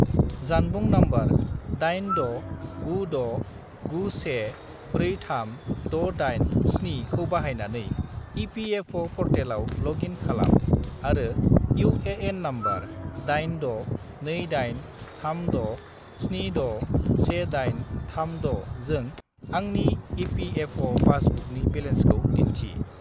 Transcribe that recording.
जानबुं नंबर 86969143687 खौ बाहायनानै इ.पि.एफ.अ'. पर्टेलाव लग इन खालाम आरो इउ.ए.एन. नम्बर 862836761836 जों आंनि इ.पि.एफ.अ'. पासबुकनि बेलेन्सखौ दिन्थि।